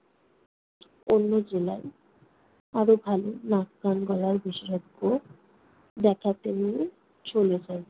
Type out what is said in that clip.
অন্য জেলায় আরো ভালো নাক-কান-গলার বিশেষজ্ঞ দেখাতে নিয়ে চলে যাই।